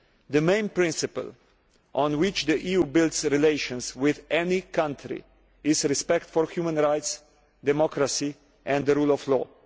The main principle on which the EU builds relations with any country is respect for human rights, democracy and the rule of law.